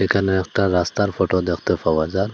এখানে একটা রাস্তার ফটো দেখতে পাওয়া যার ।